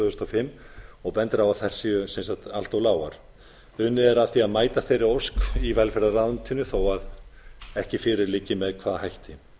þúsund og fimm og bendir á að þær séu allt lágar unnið er að því að mæta þeirri ósk í velferðarráðuneytinu þó ekki fyrir með hvaða hætti